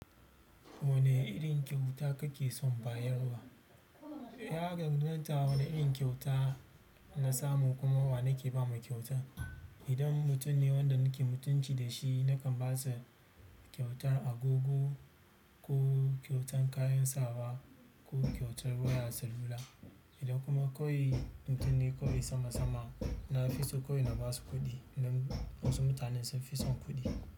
Wane irin kyauta kake son bayarwa? Ya kamata wane irin kyauta na samu kuma wa nake ba mu kyauta? Idan mutum ne wanda nake mutunci da shi, nakan ba su kyautar agogo ko kyautar kayan sawa ko kyautar wayar salula. Idan kuma koyi mutum ne koyi sama sama, na fi so koyi na ba su kuɗi. Nan wasu mutane sun fi son kuɗi.